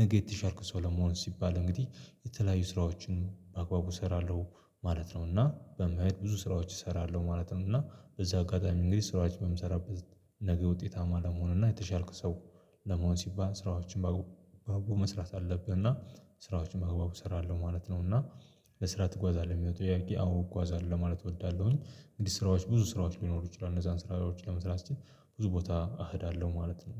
ነገ የተሻልኩ ሰው ለመሆን ሲባል እንግዲህ የተለያዩ ስራዎችን በአግባቡ እሰራለሁ ማለት ነው። እና በመሄድ ብዙ ስራዎች እሰራለሁ ማለት ነው። እና በዚህ አጋጣሚ እንግዲህ ስራዎች በምሰራበት ነገ ውጤታማ ለመሆን እና የተሻልኩ ሰው ለመሆን ሲባል ስራዎችን በአግባቡ መስራት አለብህ። እና ስራዎችን በአግባቡ እሰራለሁ ማለት ነው። እና ለስራ ትጓዛለህ የሚለው ጥያቄ? አዎ እጓዛለሁ ለማለት እወዳለሁኝ እንግዲህ ስራዎች ብዙ ስራዎች ሊኖሩ ይችላሉ እነዛን ስራዎች ለመስራት ስችል ብዙ ቦታ እኸዳለሁ ማለት ነው።